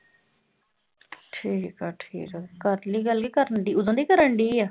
ਠੀਕ ਆ ਠੀਕ ਆ ਕਰ ਲਈ ਗੱਲ ਕਰਨਡੀ ਉਦੋਂ ਦੀ ਕਰਨਡੀ ਆ